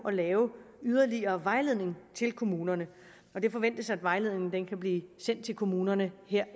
at lave yderligere vejledning til kommunerne det forventes at vejledningen kan blive sendt til kommunerne